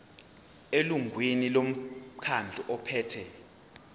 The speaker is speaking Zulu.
elungwini lomkhandlu ophethe